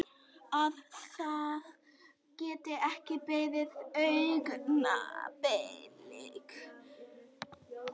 Að það geti ekki beðið augnablik.